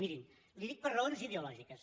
miri li ho dic per raons ideològiques